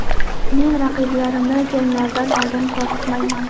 Men raqiblarimni janglardan oldin qo‘rqitmayman.